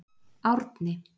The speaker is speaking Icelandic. Árni